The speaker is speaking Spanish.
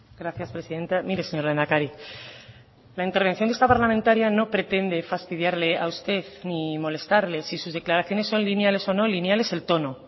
gracias presidenta mire señor lehendakari la intervención de esta parlamentaria no pretende fastidiarle a usted ni molestarle si sus declaraciones son lineales o no lineal es el tono